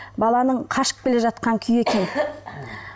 баланың қашып келе жатқан күйі екен